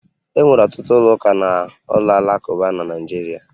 E nwere ọtụtụ ụlọ ụka na ụlọ alakụba na Naịjirịa